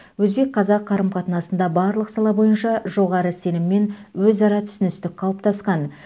өзбек қазақ қарым қатынасында барлық сала бойынша жоғары сенім мен өзара түсіністік қалыптасқан